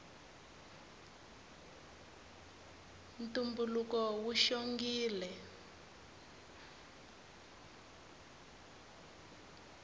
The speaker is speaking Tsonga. ntumbuluko wu xongile